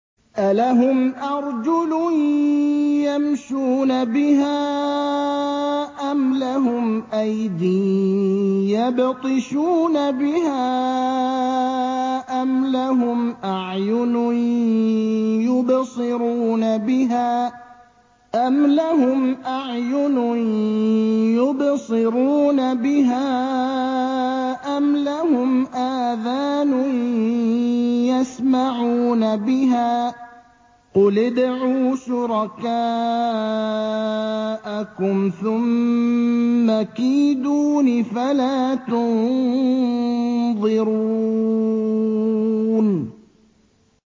أَلَهُمْ أَرْجُلٌ يَمْشُونَ بِهَا ۖ أَمْ لَهُمْ أَيْدٍ يَبْطِشُونَ بِهَا ۖ أَمْ لَهُمْ أَعْيُنٌ يُبْصِرُونَ بِهَا ۖ أَمْ لَهُمْ آذَانٌ يَسْمَعُونَ بِهَا ۗ قُلِ ادْعُوا شُرَكَاءَكُمْ ثُمَّ كِيدُونِ فَلَا تُنظِرُونِ